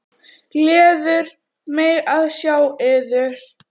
Gleður mig að sjá yður.